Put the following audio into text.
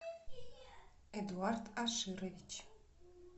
эдуард аширович